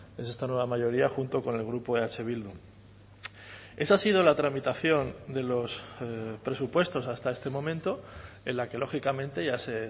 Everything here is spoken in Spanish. es esta nueva mayoría junto con el grupo eh bildu esa ha sido la tramitación de los presupuestos hasta este momento en la que lógicamente ya se